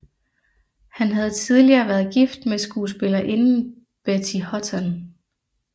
Han havde tidligere været gift med skuespillerinden Betty Hutton